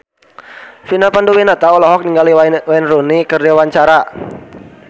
Vina Panduwinata olohok ningali Wayne Rooney keur diwawancara